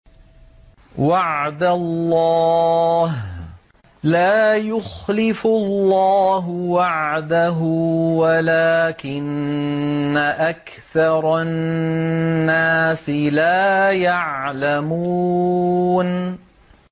وَعْدَ اللَّهِ ۖ لَا يُخْلِفُ اللَّهُ وَعْدَهُ وَلَٰكِنَّ أَكْثَرَ النَّاسِ لَا يَعْلَمُونَ